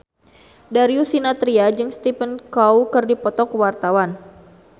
Darius Sinathrya jeung Stephen Chow keur dipoto ku wartawan